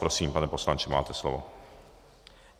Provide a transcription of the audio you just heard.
Prosím, pane poslanče, máte slovo.